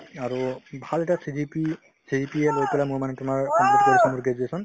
আৰু ভাল এটা CGP~ CGPA লৈ পেলাই মই মানে তোমাৰ complete কৰিছো মোৰ graduation